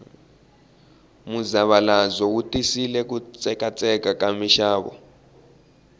muzavalazo wu tisile ku tsekatseka ka mixavo